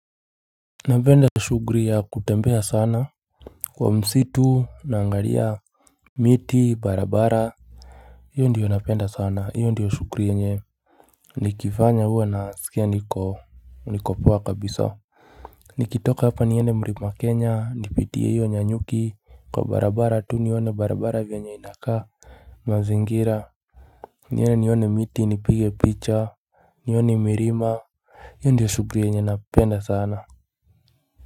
Napenda shughuli ya kutembea sana kwa msitu, naangalia miti barabara, hiyo ndiyo napenda sana, hiyo ndiyo shughuli yenyewe. Nikifanya huwa nasikia niko niko poa kabisa nikitoka hapa niende mlima wa Kenya, nipitie hiyo Nyanyuki kwa barabara tu, nione barabara vyanye inakaa mazingira niende nione miti nipige picha nione milima. Hiyo ndiyo shughuli yenye napenda sana.